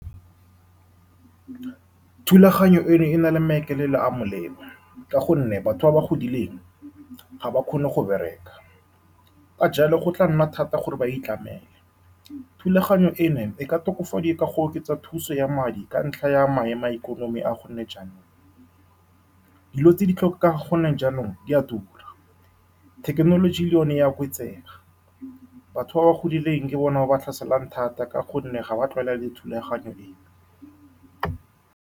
Thulaganyo eno e na le maikaelelo a a molemo, ka gonne batho ba ba godileng ga ba kgone go bereka. Ka jalo, go tla nna thata gore ba itlamele. Thulaganyo eno e ka tokafadiwa ka go oketsa thuso ya madi ka ntlha ya maemo a ikonomi a gone jaanong. Dilo tse di tlhoka gone jaanong di a tura, thekenoloji le yone e a oketsega. Batho ba ba godileng ke bone ba ba tlhaselang thata, ka gonne ga ba tlwaela le thulaganyo e.